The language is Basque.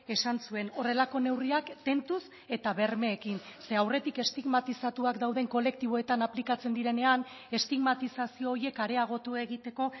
esan zuen horrelako neurriak tentuz eta bermeekin ze aurretik estigmatizatuak dauden kolektiboetan aplikatzen direnean estigmatizazio horiek areagotu egiteko